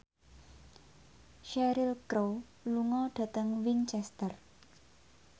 Cheryl Crow lunga dhateng Winchester